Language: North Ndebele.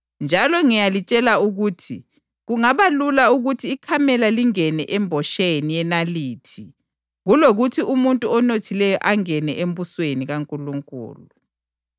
UJesu wasesithi kubafundi bakhe, “Ngilitshela iqiniso ukuthi kunzima emuntwini onothileyo ukuthi angene embusweni wezulu.